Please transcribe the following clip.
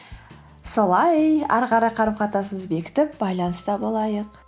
солай ары қарай қарым қатынасымызды бекітіп байланыста болайық